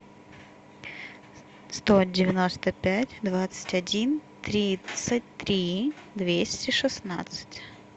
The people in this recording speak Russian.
сто девяносто пять двадцать один тридцать три двести шестнадцать